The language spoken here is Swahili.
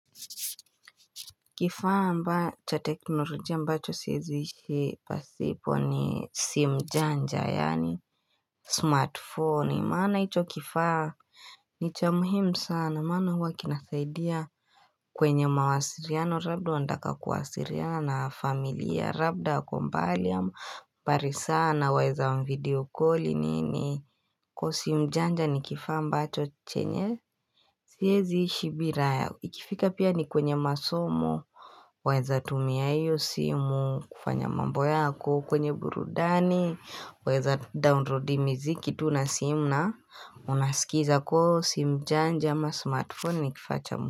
Kifaa ambacho teknolojia ambacho siwezi ishi pasipo ni simu janja yaani Smartphone maana hicho kifaa ni cha muhimu sana maana huwa kinasaidia kwenye mawasiliano labda unanataka kuwasiliana na amilia labda kwa umbali sana waeza wa video calli ni ni Kwa sim janja ni kifaa mba cho chenye Siezi ishi bila ya, ikifika pia ni kwenye masomo Waweza tumia iyo simu, kufanya mambo yako, kwenye burudani weza downloadi miziki, tu nasimu na unaskiza kwa hio simujanja ama smartphone ni kifaa cha mkufanya.